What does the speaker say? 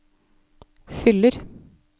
fyller